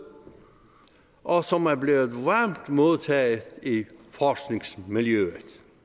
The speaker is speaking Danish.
og som er blevet varmt modtaget i forskningsmiljøet